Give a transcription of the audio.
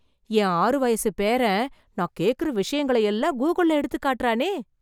என் ஆறு வயசுப் பேரன், நான் கேக்கற விஷயங்களயெல்லாம், கூகிள்ள எடுத்து காட்டறானே...